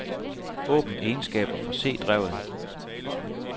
Åbn egenskaber for c-drevet.